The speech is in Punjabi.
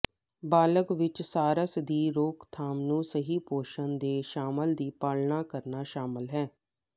ਬਾਲਗ ਵਿੱਚ ਸਾਰਸ ਦੀ ਰੋਕਥਾਮ ਨੂੰ ਸਹੀ ਪੋਸ਼ਣ ਦੇ ਸ਼ਾਸਨ ਦੀ ਪਾਲਣਾ ਕਰਨਾ ਸ਼ਾਮਲ ਹੈ